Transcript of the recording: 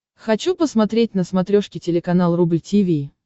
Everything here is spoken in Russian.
хочу посмотреть на смотрешке телеканал рубль ти ви